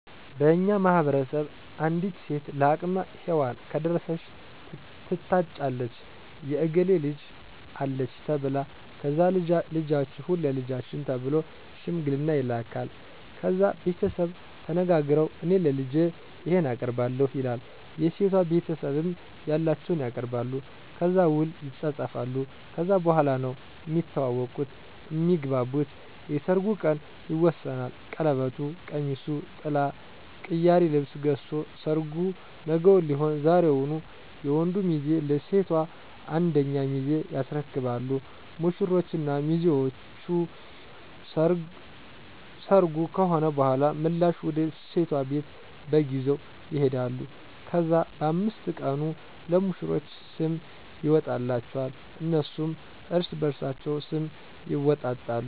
በእኛ ማህበረሰብ አንዲት ሴት ለአቅመ ሄዋን ከደረሰች ትታጫለች የእከሌ ልጅ አለች ተብላ ከዛ ልጃችሁን ለልጃችን ተብሎ ሽምግልና ይላካል። ከዛ ቤተሰቡ ተነጋግረዉ እኔ ለልጄ ይሄን አቀርባለሁ ይላል የሴቷ ቤተሰብም ያላቸዉን ያቀርባሉ። ከዛ ዉል ይፃፃፋሉ ከዛ በኋላ ነዉ እሚተዋወቁት (እሚግባቡት) የሰርጉ ቀን ይወሰናል ቀለበቱ፣ ቀሚሱ፣ ጥላ፣ ቅያሪ ልብስ ገዝቶ ሰርጉ ነገዉን ሊሆን ዛሬዉን የወንዱ ሚዜ ለሴቷ አንደኛ ሚዜ ያስረክባሉ። ሙሽሮች እና ሚዜዎች ሰርጉ ከሆነ በኋላ ምላሽ ወደ ሴቷ ቤት በግ ይዘዉ ይሄዳሉ። ከዛ በ5 ቀኑ ለሙሽሮች ስም ይወጣላቸዋል እነሱም እርስበርሳቸዉ ስም ይወጣጣሉ።